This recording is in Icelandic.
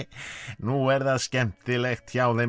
nú er það skemmtilegt hjá þeim